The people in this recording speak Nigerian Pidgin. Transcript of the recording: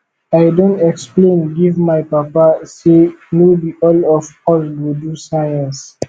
i don explain give my papa sey no be all of us go do science